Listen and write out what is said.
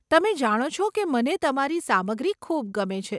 તમે જાણો છો કે મને તમારી સામગ્રી ખૂબ ગમે છે.